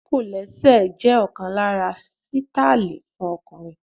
Ṣé kọ̀lẹ́sẹ̀ jẹ́ ọ̀kan lára àwọn sítáílì fún ọkùnrin?